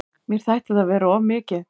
Mér þætti það vera of mikið.